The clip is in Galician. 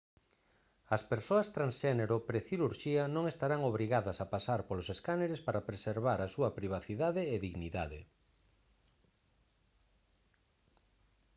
as persoas transxénero precirurxía non estarán obrigadas a pasar polos escáneres para preservar a súa privacidade e dignidade